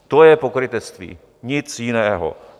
To je pokrytectví, nic jiného.